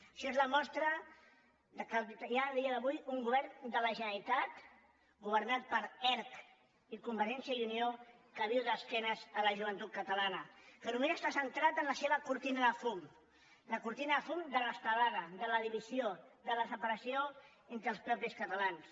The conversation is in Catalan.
això és la mostra que hi ha a dia d’avui un govern de la generalitat governat per erc i convergència i unió que viu d’esquenes a la joventut catalana que només està centrat en la seva cortina de fum la cortina de fum de l’estelada de la divisió de la separació entre els mateixos catalans